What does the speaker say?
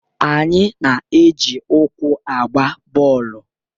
Anyị na-eji ụkwụ agba bọọlụ.